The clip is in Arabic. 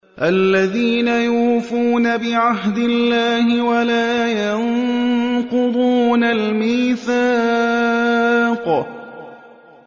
الَّذِينَ يُوفُونَ بِعَهْدِ اللَّهِ وَلَا يَنقُضُونَ الْمِيثَاقَ